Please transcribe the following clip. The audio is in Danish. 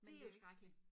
Men det jo ik så